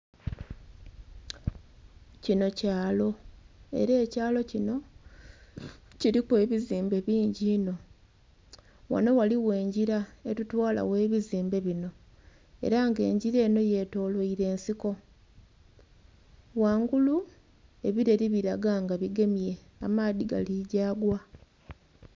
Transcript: Kinho kyaalo era ekyalo kinho kiliku ebizimbe bingi inho, ghanho ghaligho engila etutwala ghe ebizimbe binho era nga engila enho yetolweire ensiko, ghangulu ebileeli bilaga nga bigemye amaadhi gali ghagati.